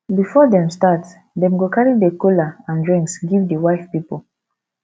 before dem start dem go carry the kola and drinks give di wife pipol